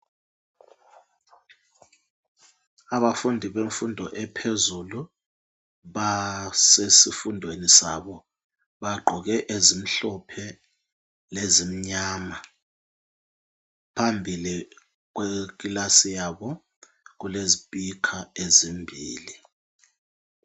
Abafundi bemfundo ephezulu basesifundweni sabo bagqoke ezimhlophe lezimnyama phambili kwekilasi yabo kulezispikha ezimbili.